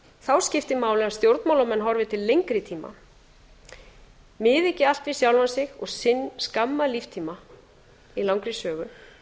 þá skiptir máli að stjórnmálamenn horfi til lengri tíma miði ekki allt við sjálfa sig og sinn skamma líftíma í langri sögu